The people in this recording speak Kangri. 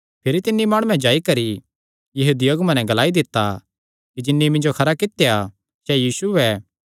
भिरी तिन्नी माणुये जाई करी यहूदी अगुआं नैं ग्लाई दित्ता कि जिन्नी मिन्जो खरा कित्या सैह़ यीशु ऐ